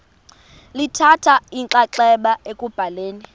lithatha inxaxheba ekubhaleni